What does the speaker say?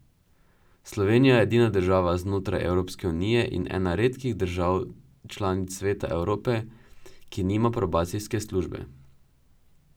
Slovenija je edina država znotraj Evropske unije in ena redkih držav članic Sveta Evrope, ki nima probacijske službe.